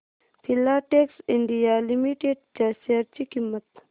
Filatex India limited च्या share ची किंमत